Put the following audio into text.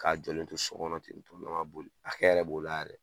K'a jɔlen to sokɔnɔ ten ne ma boli a hɛrɛ b'o la yɛrɛ